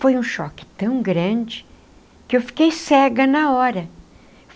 Foi um choque tão grande que eu fiquei cega na hora.